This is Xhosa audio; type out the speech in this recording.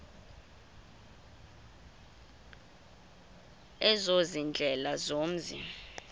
ezo ziindlela zomzi